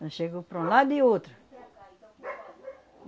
Nós chegou para um lado e outro.